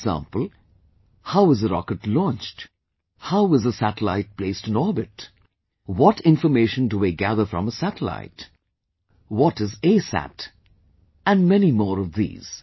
For example, How is a rocket launched, how is a satellite placed in orbit, what information do we gather from a satellite, what is ASat... and many more of these